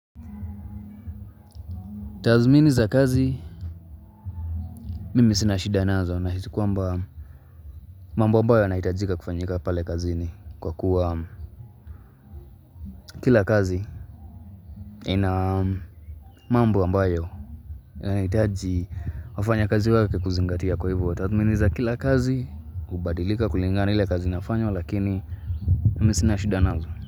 Tazmini za kazi, mimi sinashida nazo nahisi kwamba mambo ambayo yanahitajika kufanyika pale kazini kwa kuwa kila kazi ina mambo ambayo yanahitaji wafanya kazi wake kuzingatia kwa hivo. Tazmini za kila kazi, ubadilika kulingana na ile kazi inafanywa lakini mimi sina shida nazo.